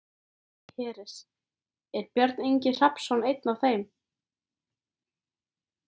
Hersir: Er Björn Ingi Hrafnsson einn af þeim?